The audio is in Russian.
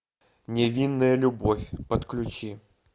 невинная любовь подключи